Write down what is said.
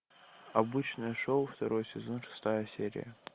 обычное шоу второй сезон шестая серия